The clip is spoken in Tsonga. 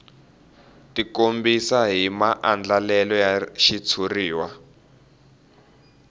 tikombisa hi maandlalelo ya xitshuriwa